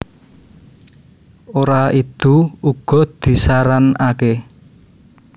Ora idu uga disaranaké